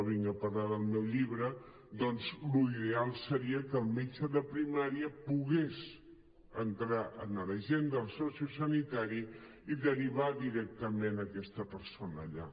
de vinc a parlar del meu llibre doncs l’ideal seria que el metge de primària pogués entrar a l’agenda del socio sanitari i derivar directament aquesta persona allà